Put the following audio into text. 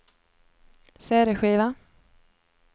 cd-skiva